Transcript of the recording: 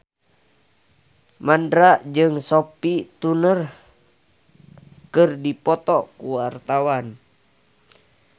Mandra jeung Sophie Turner keur dipoto ku wartawan